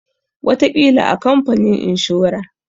Wataƙila a kamfanin inshora.